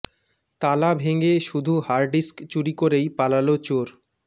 তালা ভেঙে শুধু হার্ড ডিস্ক চুরি করেই পালাল চোর